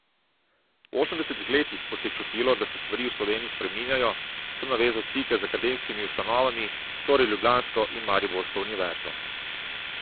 V osemdesetih letih, ko se je čutilo, da se stvari v Sloveniji spreminjajo, sem navezal stike z akademskimi ustanovami, torej ljubljansko in mariborsko univerzo.